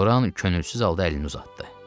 Loran könülsüz halda əlini uzatdı.